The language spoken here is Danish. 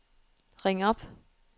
ring op